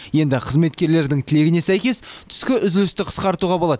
енді қызметкердің тілегіне сәйкес түскі үзілісті қысқартуға болады